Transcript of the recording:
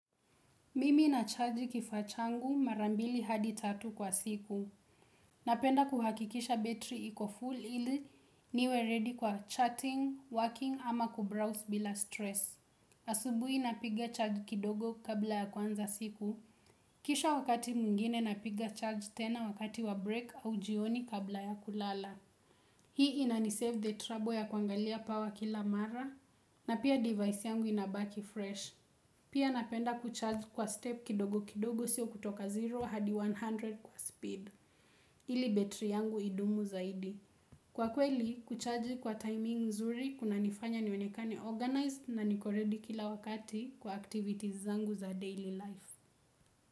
Mimi na charge kifaa changu mara mbili hadi tatu kwa siku. Napenda kuhakikisha battery iko full ili niwe ready kwa chatting, working ama kubrowse bila stress. Asubuhi napiga charge kidogo kabla ya kuanza siku. Kisha wakati mwingine napiga charge tena wakati wa break au jioni kabla ya kulala. Hii inanisave the trouble ya kuangalia power kila mara na pia device yangu inabaki fresh. Pia napenda kucharge kwa step kidogo kidogo sio kutoka 0 hadi 100 kwa speed. Ili betri yangu idumu zaidi. Kwa kweli, kucharge kwa timing nzuri kunanifanya nionekane organized na niko ready kila wakati kwa activities zangu za daily life.